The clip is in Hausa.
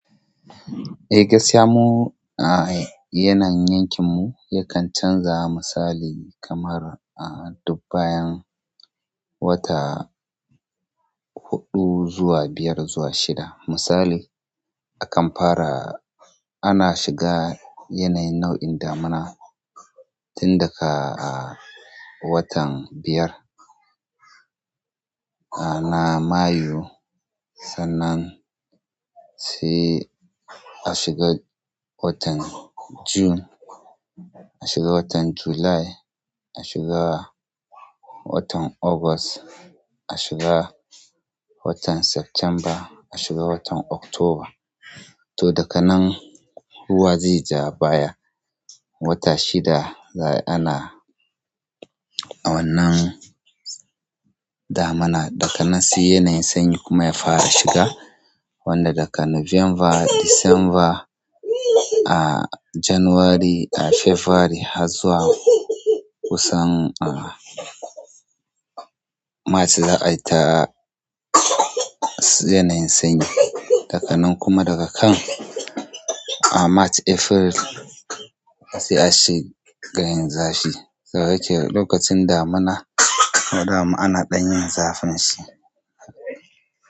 Eh gaskiya mu a yanayin yankin mu yakan canza misali kamar a dub bayan wata huɗu zuwa biyar zuwa shida. Misali a kan fara ana shiga yanayin nau'in damina tun daga a watan biyar a na mayu sannan sai a shiga watan june, ashiga watan july watan August, a shiga watan September, a shiga watan October. To dakan nan ruwa zai ja baya wata shida za ana wannan damina. Daka nan si yanayin sanyi kuma ya fara shiga wanda daka November, December, a January, a February har zuwa kusan a March za ai ta yanayin sanyi. Dakan nan kuma daga can a March, April sai a shiga yin zafi. Yake lokacin damina kuma dama ana ɗan yin zafin shi.